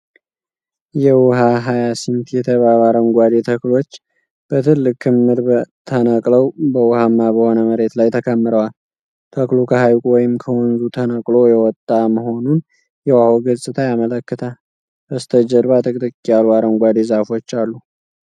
የውሃ ሃያሲንት የተባሉ አረንጓዴ ተክሎች በትልቅ ክምር ተነቅለው በውኃማ በሆነ መሬት ላይ ተከምረዋል። ተክሉ ከሐይቁ ወይም ከወንዙ ተነቅሎ የወጣ መሆኑን የውሃው ገጽታ ያመለክታል። በስተጀርባ ጥቅጥቅ ያሉ አረንጓዴ ዛፎች አሉ።